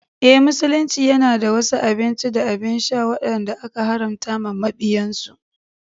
Eh, Musulunci yana da wasu abinci da abin sha wadanda aka haramta wa mabiyansu.